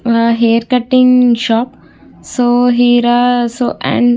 నా hair cutting shop . So